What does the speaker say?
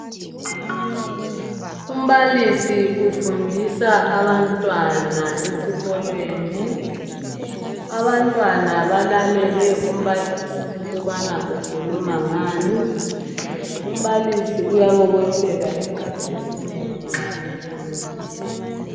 Umbalisi ufundisa abantwana esikolweni. Abantwana balalele umbalisi ukubana ukhuluma ngani, umbalisi uyabobotheka isikhathi esinengi nxa efundisa.